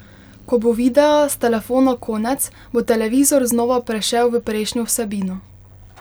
Ko bo videa s telefona konec, bo televizor znova prešel v prejšnjo vsebino.